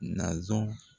Naz